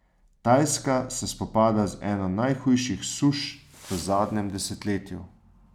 Tajska se spopada z eno najhujših suš v zadnjem desetletju.